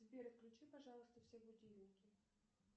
сбер отключи пожалуйста все будильники